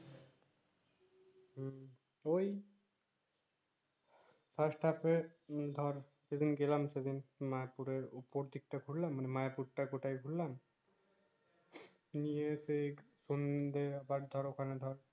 ঐ fast half এ উম ধোর সেদিন গেলাম সেদিন মা পুরে পতেক টা করলাম মা এর পুর টা কুটাই করলাম নিয়ে সেই সন্ধ্যাএ ধোর ওখানে ধোর